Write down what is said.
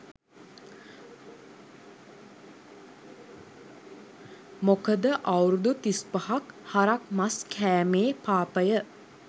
මොකද අවුරුදු තිස් පහක් හරක් මස් කෑමේ පාපය